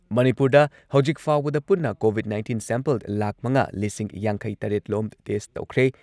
ꯃꯅꯤꯄꯨꯔꯗ ꯍꯧꯖꯤꯛ ꯐꯥꯎꯕꯗ ꯄꯨꯟꯅ ꯀꯣꯚꯤꯗ ꯅꯥꯏꯟꯇꯤꯟ ꯁꯦꯝꯄꯜ ꯂꯥꯈ ꯃꯉꯥ ꯂꯤꯁꯤꯡ ꯌꯥꯡꯈꯩꯇꯔꯦꯠ ꯂꯣꯝ ꯇꯦꯁꯠ ꯇꯧꯈ꯭ꯔꯦ꯫